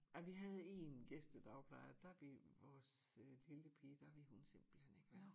Ej vi havde én gæstedagplejer der ville vores lille pige der ville hun simpelthen ikke være